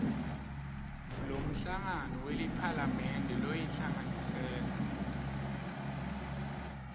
lomhlangano weliphalamende loyinhlanganisela